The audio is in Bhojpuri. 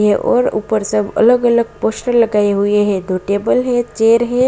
और ऊपर सब अलग अलग पोस्टर लगाई हुई है दो टेबल हैं चेअर हैं |